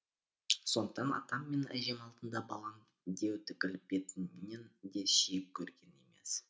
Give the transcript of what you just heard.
сондықтан атам мен әжем алдында балам деу түгіл бетімнен де сүйіп көрген емес